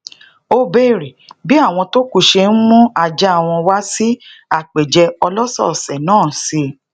ó béèrè bi awon to ku se n mu aja won wa sí àpèjẹ olosoose naa si